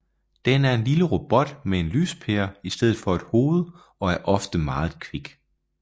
Den er en lille robot med en lyspære i stedet for et hoved og er ofte meget kvik